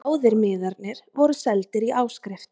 Báðir miðarnir voru seldir í áskrift